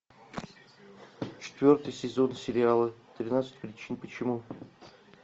четвертый сезон сериала тринадцать причин почему